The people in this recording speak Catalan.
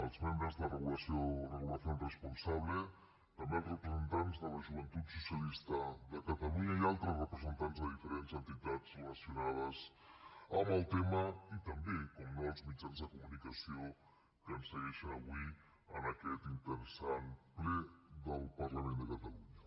els membres de regulación responsable també els representants de la joventut socialista de catalunya i altres representants de diferents entitats relacionades amb el tema i també per descomptat els mitjans de comunicació que ens segueixen avui en aquest interessant ple del parlament de catalunya